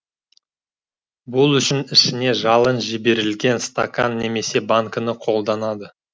бұл үшін ішіне жалын жіберілген стакан немесе банкіні қолданады